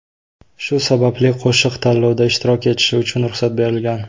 Shu sababli qo‘shiq tanlovda ishtirok etishi uchun ruxsat berilgan.